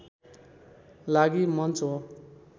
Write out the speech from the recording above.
लागि मञ्च हो